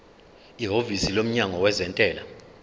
ihhovisi lomnyango wezentela